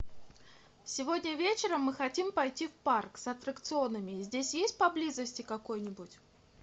сегодня вечером мы хотим пойти в парк с аттракционами здесь есть поблизости какой нибудь